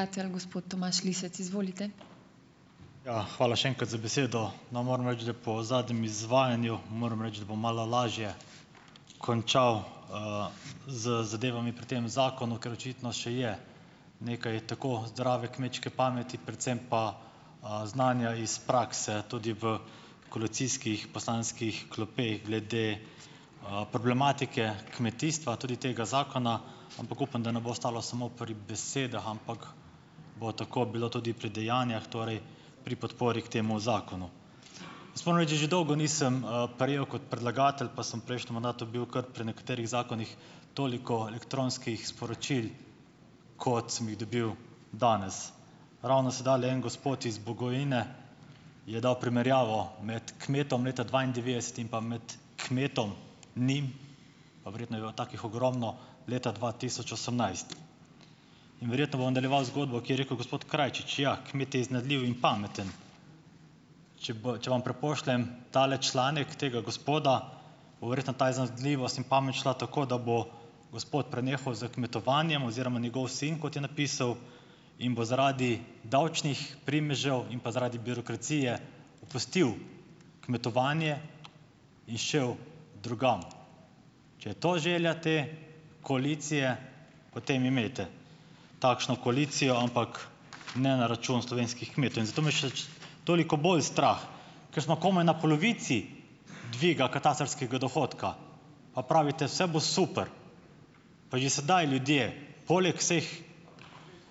Ja, hvala še enkrat za besedo. No, moram reči, da po zadnjem izvajanju, moram reči, da bom malo lažje končal, z zadevami pri tem zakonu, ker očitno še je nekaj tako zdrave kmečke pameti, predvsem pa, znanja iz prakse tudi v koalicijskih poslanskih klopeh glede, problematike kmetijstva, tudi tega zakona, ampak upam, da ne bo ostalo samo pri besedah, ampak bo tako bilo tudi pri dejanjih, torej pri podpori k temu zakonu. Jaz moram reči, da že dolgo nisem, prejel kot predlagatelj, pa sem v prejšnjem mandatu bil kar pri nekaterih zakonih, toliko elektronskih sporočil, kot sem jih dobil danes. Ravno sedajle en gospod iz Bogojine je dal primerjavo med kmetom leta dvaindevetdeset in pa med kmetom, njim, pa verjetno je bilo takih ogromno, leta dva tisoč osemnajst. In verjetno bom nadaljeval zgodbo, ko je rekel gospod Krajčič, ja, kmet je iznajdljiv in pameten. Če bi, če vam prepošljem tale članek tega gospoda, bo verjetno ta iznajdljivost in pamet šla tako, da bo gospod prenehal s kmetovanjem oziroma njegov sin, kot je napisal, in bo zaradi davčnih primežev in pa zaradi birokracije opustil kmetovanje in šel drugam. Če je to želja te koalicije, potem imejte takšno koalicijo, ampak ne na račun slovenskih kmetov. In zato me še toliko bolj strah, ker smo komaj na polovici dviga katastrskega dohodka pa pravite: "Saj bo super," pa že sedaj ljudje poleg vseh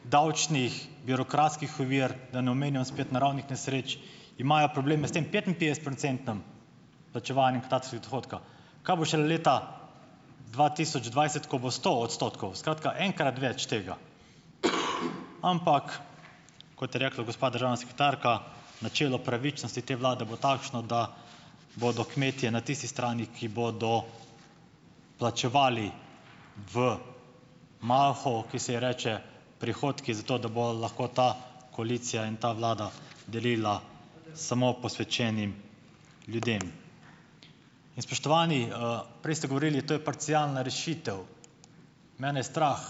davčnih, birokratskih ovir, da ne omenjam spet naravnih nesreč, imajo probleme s tem petinpetdesetprocentnim plačevanjem katastrskega dohodka. Kaj bo šele leta dva tisoč dvajset, ko bo sto odstotkov. Skratka, enkrat več tega. Ampak, kot je rekla gospa državna sekretarka, načelo pravičnosti te vlade bo takšno, da bodo kmetje na tisti strani, ki bodo plačevali v malho, ki se ji reče prihodki, zato da bo lahko ta koalicija in ta vlada delila samo posvečenim ljudem. In spoštovani! Prej ste govorili, to je parcialna rešitev. Mene je strah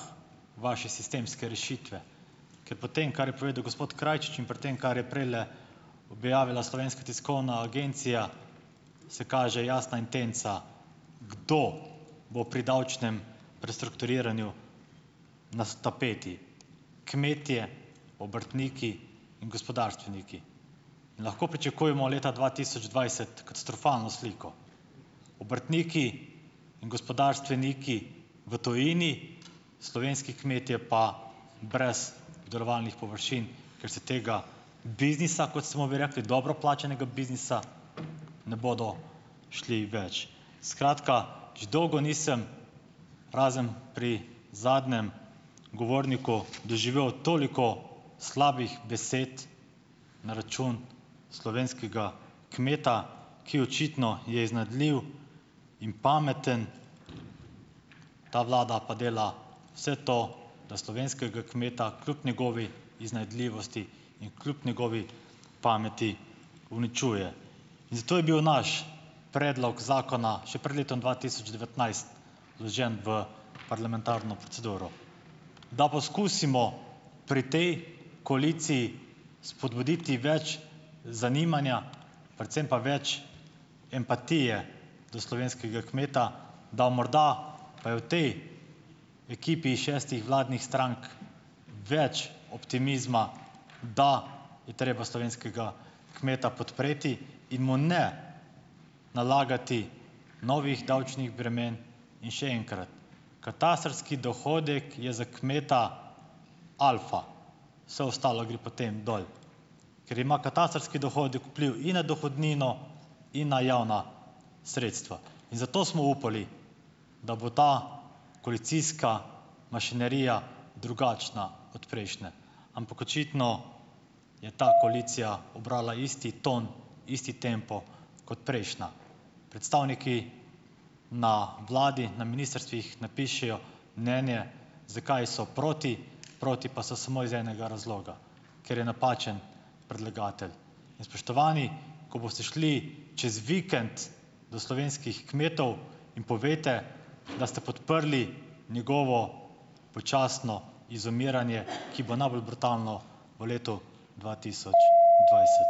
vaše sistemske rešitve, ker po tem, kar je povedal gospod Krajčič, in pri tem, kar je prejle objavila Slovenska tiskovna agencija, se kaže jasna intenca, kdo bo pri davčnem prestrukturiranju na tapeti. Kmetje, obrtniki in gospodarstveniki. Lahko pričakujemo leta dva tisoč dvajset katastrofalno sliko. Obrtniki in gospodarstveniki v tujini, slovenski kmetje pa brez obdelovalnih površin, ker se tega biznisa, kot smo bi rekli, dobro plačanega biznisa ne bodo šli več. Skratka, že dolgo nisem, razen pri zadnjem govorniku, doživel toliko slabih besed na račun slovenskega kmeta, ki, očitno, je iznajdljiv in pameten. Ta vlada pa dela vse to, da slovenskega kmeta, kljub njegovi iznajdljivosti in kljub njegovi pameti, uničuje. Zato je bil naš predlog zakona še pred letom dva tisoč devetnajst vložen v parlamentarno proceduro, da poskusimo pri tej koaliciji spodbuditi več zanimanja, predvsem pa več empatije do slovenskega kmeta, da morda pa je v tej ekipi šestih vladnih strank več optimizma, da je treba slovenskega kmeta podpreti in mu ne nalagati novih davčnih bremen. In še enkrat ... Katastrski dohodek je za kmeta alfa, vse ostalo gre potem dol, ker ima katastrski dohodek vpliv in na dohodnino in na javna sredstva. In zato smo upali, da bo ta koalicijska mašinerija drugačna od prejšnje. Ampak očitno je ta koalicija ubrala isti ton, isti tempo kot prejšnja. Predstavniki na vladi, na ministrstvih, napišejo mnenje zakaj so proti, proti pa so samo iz enega razloga. Ker je napačen predlagatelj. In spoštovani, ko boste šli čez vikend do slovenskih kmetov, jim povejte, da ste podprli njegovo počasno izumiranje, ki bo najbolj brutalno v letu dva tisoč dvajset.